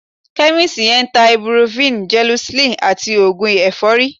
Chemist yẹn ń ta ibuprofen, gelocin àti oògùn ẹ̀fọ́rí